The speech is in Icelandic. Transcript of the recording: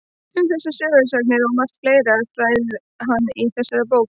Um þessar sögusagnir og margt fleira ræðir hann í þessari bók.